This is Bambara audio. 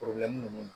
ninnu